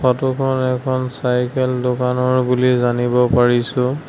ফটোখন এখন চাইকেল দোকানৰ বুলি জানিব পাৰিছো।